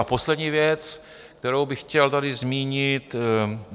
A poslední věc, kterou bych chtěl tady zmínit.